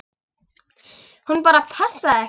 Hún bara passaði ekki.